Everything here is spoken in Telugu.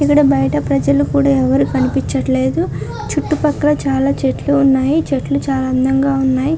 ఇక్కడ బయట ప్రజలు కూడా ఎవరు కనిపించట్లేదు. చుట్టుపక్కల చాలా చెట్లు ఉన్నాయి. చెట్లు చాలా అందంగా ఉన్నాయి.